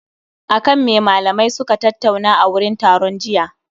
Akan me limamai suka tattauna a wurin taron jiya?